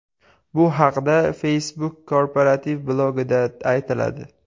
Bu haqda Facebook korporativ blogida aytiladi .